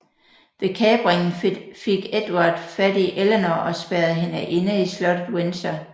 Ved kapringen fik Edvard fat i Eleanor og spærrede hende inde i slottet Windsor